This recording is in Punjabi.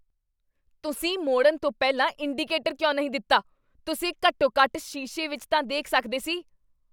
ਤੁਸੀਂ ਮੋੜਨ ਤੋਂ ਪਹਿਲਾਂ ਇੰਡੀਕੇਟਰ ਕਿਉਂ ਨਹੀਂ ਦਿੱਤਾ? ਤੁਸੀਂ ਘੱਟੋ ਘੱਟ ਸ਼ੀਸ਼ੇ ਵਿੱਚ ਤਾਂ ਦੇਖ ਸਕਦੇ ਸੀ